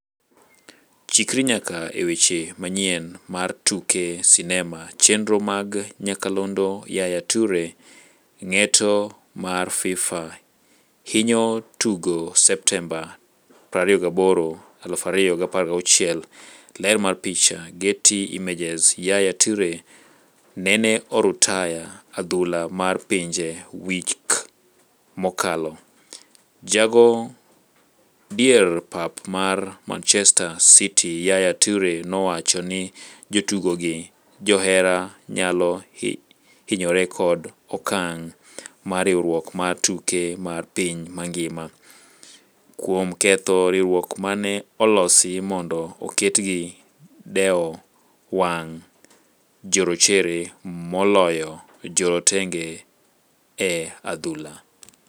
Chikri nyaka e weche manyien mar tuke sinema chenro mag nyakalondo Yaya Toure: Ng'eto mar FIFA hinyo jotugo Septemba 28, 2016. Ler mar picha, Getty Images. Yaya Tuore nene orutaya adhula mar pinje wik mokalo. Jago dier pap mar Manchester city ,Yaya Toure nowacho ni jotugo gi johera nyalo hinyore kod okang' mar riwruok mar tuke mar piny mangima (FIFA), kuom ketho riwruok mane olosi mondo oked gi dewo wang' jorochere moloyo jorotenge e adhula.